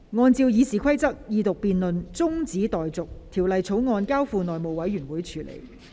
按照《議事規則》，二讀辯論中止待續，《條例草案》交付內務委員會處理。